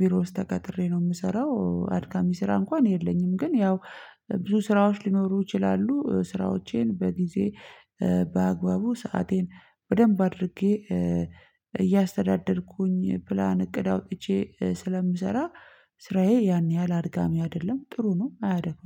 ቢሮ ውስጥ ተቀጥሬ ነው የምሰራው አድካሚ ስራ እንኳን የለኝም። ግን ያው ብዙ ስራዎች ሊኖሩ ይችላሉ። ስራዎቼን በጊዜ በአግባቡ ሰአቴን በደንብ አድርጌ እያስተዳደርኩኝ ፕላን እቅድ አውጥቼ ስለምሰራ ስራዬ ያን ያህል አድካሚ አይደለም። ጥሩ ነው አያደክምም